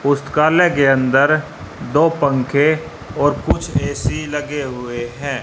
पुस्तकालय के अंदर दो पंखे और कुछ ए_सी लगे हुए हैं।